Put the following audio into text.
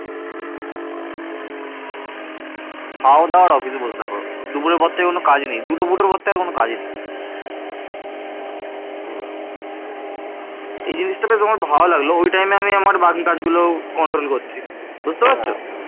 খাও দাও আর বসে থাকো দুপুরের পর থেকে কোনও কাজ নেই দুটো ফুটোর পর থেকে আর কোনও কাজ নেই এই জিনিসটা আমার বেশ ভালো লাগলো ওই time এ আমি আমার বাকি কাজ গুলো control করছি বুঝতে পারছো